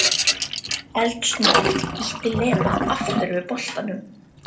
Eldsnöggt ýtti Lena aftur við bollanum.